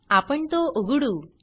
आपण तो उघडू